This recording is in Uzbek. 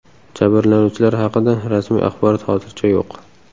Jabrlanuvchilar haqida rasmiy axborot hozircha yo‘q.